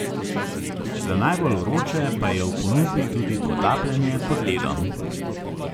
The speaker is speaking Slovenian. Za najbolj vroče pa je v ponudbi tudi potapljanje pod ledom.